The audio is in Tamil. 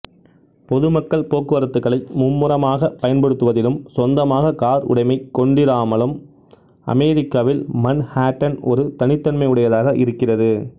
பொதுமக்கள் போக்குவரத்துகளை மும்முரமாக பயன்படுத்துவதிலும் சொந்தமாக கார் உடைமை கொண்டிராமலும் அமெரிக்காவில் மன்ஹாட்டன் ஒரு தனித்தன்மையுடையதாக இருக்கிறது